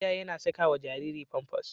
Iyaye na sakawa Jariri pampas